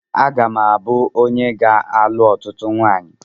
Aga m abụ onye ga alụ ọtụtụ nwanyi